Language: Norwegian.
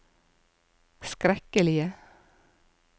skrekkelige